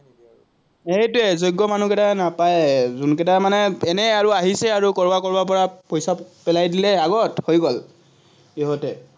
সেইটোৱেই যোগ্য মানুহকেইটাই নাপায়ে, মানে এনেয়ে আৰু আহিছে আৰু কৰবাৰ কৰবাৰপৰা পইচা পেলাই দিলে আগত হৈ গল, সিহঁতে।